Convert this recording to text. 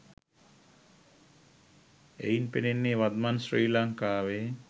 එයින් පෙනෙන්නේ වත්මන් ශ්‍රී ලංකාවෙ